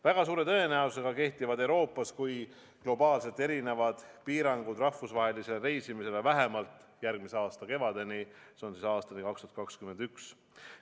Väga suure tõenäosusega kehtivad nii Euroopas kui ka globaalselt erinevad piirangud rahvusvahelisele reisimisele vähemalt järgmise aasta kevadeni, see on aastani 2021.